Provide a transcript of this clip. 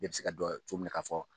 Bɛɛ bɛ se ka dɔn cogo min na k'a fɔ